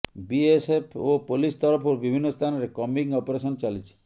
BSF ଓ police ତରଫରୁ ବିଭିନ୍ନ ସ୍ଥାନରେ କମ୍ବିଂ ଅପରେଶନ ଚାଲିଛି